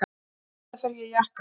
Auðvitað fer ég í jakka.